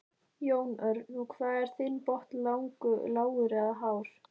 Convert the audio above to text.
Jón Örn: Og hvað er þinn botn lágur eða hár?